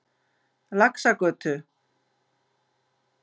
Laxagötu